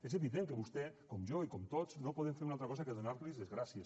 és evident que vostè com jo i com tots no podem fer una altra cosa que donar los les gràcies